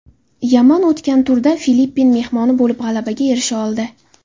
Yaman o‘tgan turda Filippin mehmoni bo‘lib g‘alabaga erisha oldi.